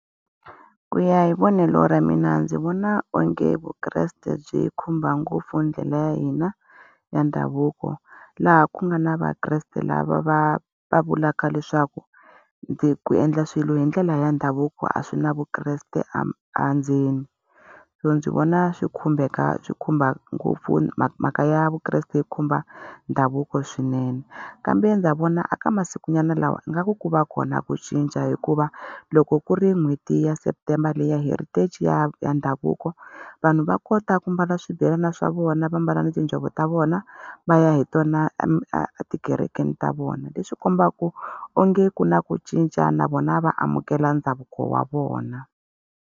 Ku ya hi vonelo ra mina ndzi vona onge vukreste byi khumba ngopfu ndlela ya hina ya ndhavuko, laha ku nga na vakreste lava va va vulaka leswaku ku endla swilo hi ndlela ya ndhavuko a swi na vukreste endzeni. So ndzi vona swi khumbeka swi khumba ngopfu mhaka ya vukreste yi khumba ndhavuko swinene. Kambe ndza vona eka masikunyana lawa ingaku ku va kona ku cinca hikuva, loko ku ri n'hweti ya september leyi ya Heritage ya ya ndhavuko, vanhu va kota ku mbala swibelana swa vona va mbala tinjhovo ta vona va ya hi tona etikerekeni ta vona. Leswi kombaka onge ku na ku cinca na vona va amukela ndhavuko wa vona.